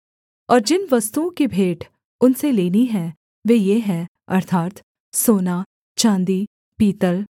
और जिन वस्तुओं की भेंट उनसे लेनी हैं वे ये हैं अर्थात् सोना चाँदी पीतल